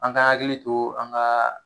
An ka hakili to an ka